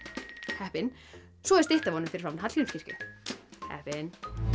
heppinn svo er stytta af honum fyrir framan Hallgrímskirkju heppinn